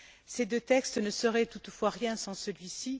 Ces deux textes ne seraient toutefois rien sans celui ci.